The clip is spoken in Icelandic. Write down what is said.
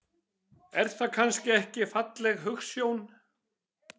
Er það kannski ekki falleg hugsjón?